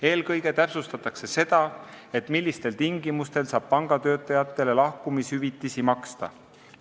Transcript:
Eelkõige täpsustatakse seda, millistel tingimustel saab pangatöötajatele lahkumishüvitisi maksta.